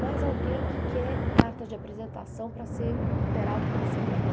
Mais alguém que quer carta de apresentação para ser operado pelo seu irmão.